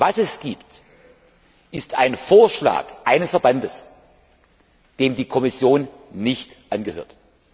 Was es gibt, ist ein Vorschlag eines Verbandes, dem die Kommission nicht angehört.